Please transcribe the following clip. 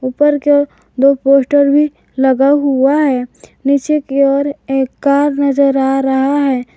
ऊपर की ओर दो पोस्टर भी लगा हुआ है नीचे की ओर एक कार नजर आ रहा है।